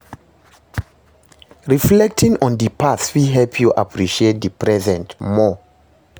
Reflecting on di past fit help yu appreciate di present more.